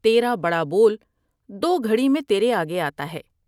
تیرا بڑا بول دو گھڑی میں تیرے آگے آتا ہے ۔